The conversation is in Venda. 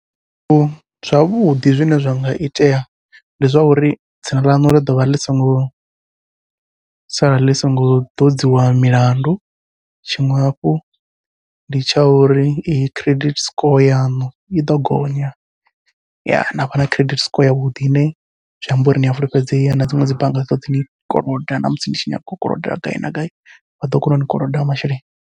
Zwithu zwavhuḓi zwine zwa nga itea ndi zwa uri dzina ḽaṋu ḽi ḓovha ḽi singo sala ḽi songo ḓodziwa milandu, tshiṅwe hafhu ndi tsha uri credit score yaṋu iḓo gonya. navha na credit score yavhuḓi, ine zwi amba uri nia fulufhedzea na dziṅwe dzi bannga dzi ḓoḓi ni koloda namusi ni tshi nyaga u koloda gai na gai vha ḓo kona uni koloda masheleni.